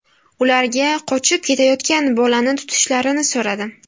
Ularga qochib ketayotgan bolani tutishlarini so‘radim.